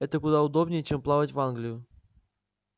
это куда удобнее чем плавать в англию